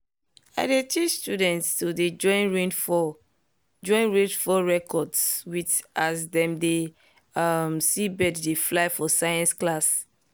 i dey teach students to dey join rainfall join rainfall records with as dem dey um see birds dey fly for science class.